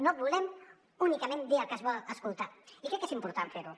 no volem únicament dir el que es vol escoltar i crec que és important fer ho